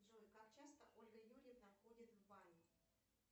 джой как часто ольга юрьевна ходит в баню